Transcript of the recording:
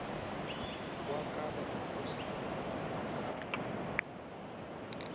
kwakaba kusile wamkhapha